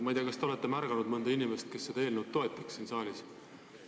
Ma ei tea, kas te olete märganud mõnda inimest, kes seda eelnõu siin saalis toetaks.